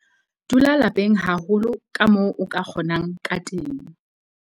Dula lapeng haholo kamoo o ka kgonang ka teng.